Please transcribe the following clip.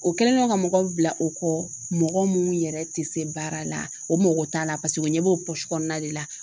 O kɛlen don ka mɔgɔ bila o kɔ mɔgɔ mun yɛrɛ tɛ se baara la o mɔgɔ t'a la o ɲɛ b'o kɔnɔna de la